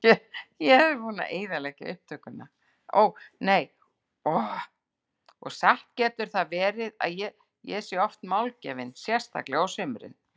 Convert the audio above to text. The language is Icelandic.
Og satt getur það verið að ég sé oft málgefin, sérstaklega á sumrin.